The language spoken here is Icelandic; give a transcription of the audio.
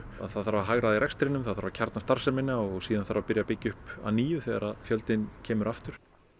það þarf að hagræða í rekstrinum það þarf að kjarna starfsemina og síðan þarf að byrja að byggja upp á ný þegar fjöldinn kemur aftur